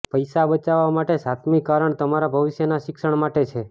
પૈસા બચાવવા માટે સાતમી કારણ તમારા ભવિષ્યના શિક્ષણ માટે છે